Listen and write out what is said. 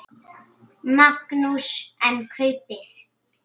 Magnús: En kaupið?